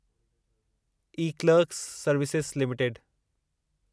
eClerx service limited